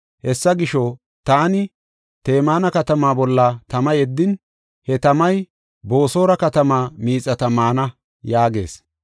Hessa gisho, taani Temaana katamaa bolla tama yeddin, he tamay Boosora katamaa miixata maana” yaagees.